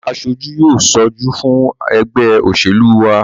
Àwọn aṣojú yóò ṣojú fún ẹgbẹ́ òṣèlú wa